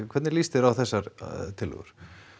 hvernig lýst þér á þessar tillögur